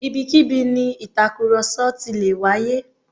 Ibikíbi ni ìtàkùrọ̀sọ ti lè wáyé